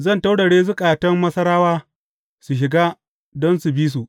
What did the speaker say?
Zan taurare zukatan Masarawa su shiga don su bi su.